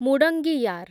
ମୁଡଙ୍ଗିୟାର୍